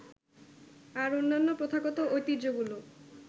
আর অন্যান্য প্রথাগত ঐতিহ্যগুলো